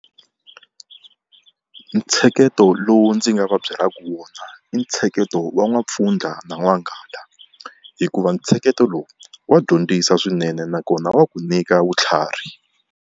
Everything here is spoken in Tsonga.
Ntsheketo lowu ndzi nga va byelaka wona i ntsheketo wa N'wampfundla na N'wanghala, hikuva ntsheketo lowu wa dyondzisa swinene nakona wa ku nyika vutlhari.